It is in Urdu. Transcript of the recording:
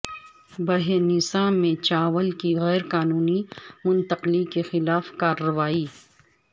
بھینسہ میں چاول کی غیر قانونی منتقلی کے خلاف کارروائی